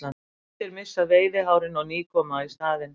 Kettir missa veiðihárin og ný koma í staðinn.